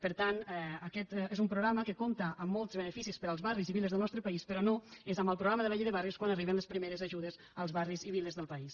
per tant aquest és un programa que compta amb molts beneficis per als barris i viles del nostre país però no és amb el programa de la llei de barris quan arriben les primeres ajudes als barris i viles del país